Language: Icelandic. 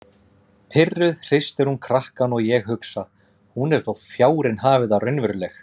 Pirruð hristir hún krakkann og ég hugsa: Hún er þó fjárinn hafi það raunveruleg.